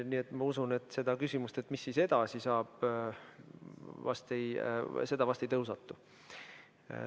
Nii et ma usun, et seda küsimust, mis edasi saab, vast ei tõusetu.